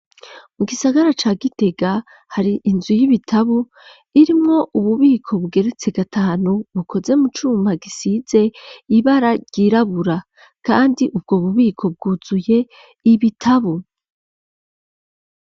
Mu gisagara ca gitega hari inzu y'ibitabo irimwo ububiko bugeretse gatanu bukoze mu cuma gisize ibara ryirabura kandi ubwo bubiko bwuzuye ibitabo.